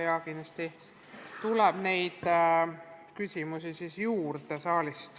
Ja kindlasti tuleb saalist küsimusi veel juurde.